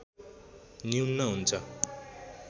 न्यून हुन्छ